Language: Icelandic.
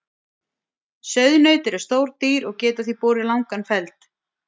Sauðnaut eru stór dýr og geta því borið langan feld.